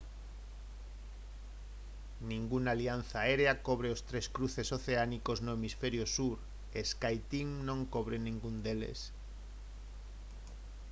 ningunha alianza aérea cobre os tres cruces oceánicos no hemisferio sur e skyteam non cobre ningún deles